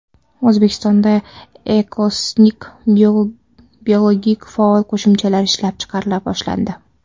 O‘zbekistonda Ecosink biologik faol qo‘shimchalar ishlab chiqarila boshlandi.